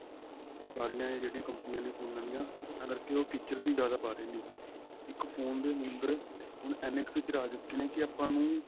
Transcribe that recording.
ਸਾਰੀਆਂ ਇਹ ਜਿਹੜੀਆਂ ਕੰਪਨੀਆਂ ਨੇ ਫੋਨਾ ਦੀਆਂ ਇਸ ਤਰਾਂ ਕਰ ਕੇ ਉਹ features ਵੀ ਜਿਆਦਾ ਪਾ ਰਹੀਆਂ ਨੇ ਇੱਕ phone ਦੇ number ਹੁਣ ਇੰਨੇ ਕ feature ਆ ਚੁਕੇ ਨੇ ਕੀ ਆਪਾਂ ਨੂੰ